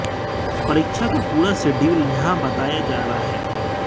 परीक्षा का पूरा शेड्यूल यहां बताया जा रहा है